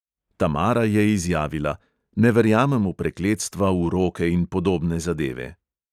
Tamara je izjavila: "ne verjamem v prekletstva, uroke in podobne zadeve."